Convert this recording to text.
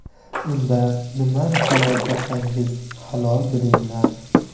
Unda nimani halol topsangiz, halol bilinglar!